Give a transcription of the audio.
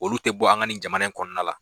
Olu tɛ bɔ an ka nin jamana in kɔnɔna la